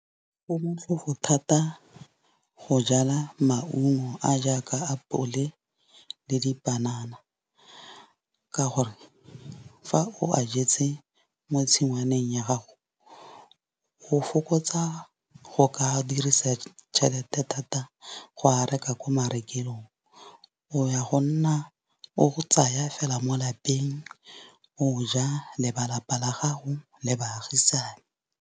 Go motlhofo thata go jala maungo a jaaka apole le dipanana. Ka gore fa o a jetse mo tshingwaneng ya gago o fokotsa go ka dirisa tšhelete thata go ka reka ko marekelong. O ya go nna o tsaya fela mo lapeng, o ja le ba lapa la gago le baagisane.